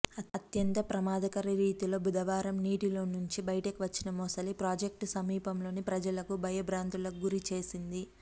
అత్యంత ప్రమాదకర రీతిలో బుధవారం నీటిలోంచి బయటకు వచ్చిన మొసలి ప్రాజెక్టు సమీపంలోని ప్రజలకు భయబ్రాంతులకు గురిచేసింది